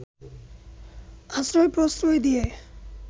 আশ্রয়-প্রশ্রয় দিয়ে